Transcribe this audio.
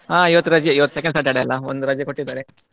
ಹಾ ಇವತ್ತು ರಜೆ ಇವತ್ತು second Saturday ಅಲಾ ಒಂದು ರಜೆ ಕೊಟ್ಟಿದ್ದಾರೆ.